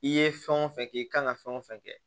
I ye fɛn o fɛn kɛ i kan ka fɛn o fɛn kɛ